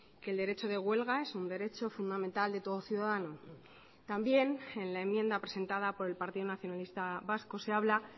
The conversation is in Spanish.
que el derecho de huelga es un derecho fundamental de todo ciudadano también en la enmienda presentada por el partido nacionalista vasco se habla